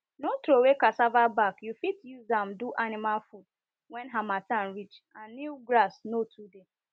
no throway cassava back you fit use am do animal food when harmattan reach and new grass no too dey